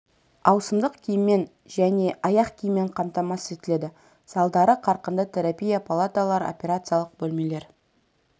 ауысымдық киіммен және аяқ киіммен қамтамасыз етіледі залдары қарқынды терапия палаталары операциялық бөлмелер